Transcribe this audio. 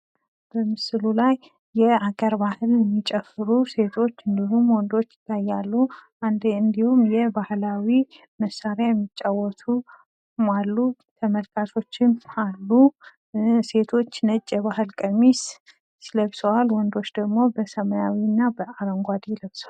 በምስሉ ላይ የአገር ባህል የሚጨፍሩ ሴቶች እንዲሁም ወንዶች ይታያሉ፣ አንድ እንዲሁም የባህላዊ መሳሪያ የሚጫወቱ አሉ፣ ተመልካችም አሉ፣ ሴቶች ነጭ የባህል ቀሚስ ለብሰዋል፣ ወንዶች ደሞ በሰመያዊ እና በአረንጓዴ ለብሰዋል።